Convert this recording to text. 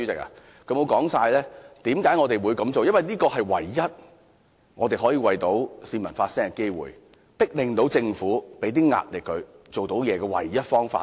因為這是我們唯一可以為市民發聲的機會，向政府施壓，迫令政府做點工作的唯一方法。